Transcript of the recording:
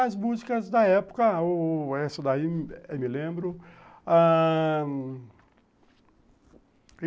As músicas da época, o... essa daí eu me lembro.